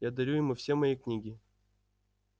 я дарю ему все мои книги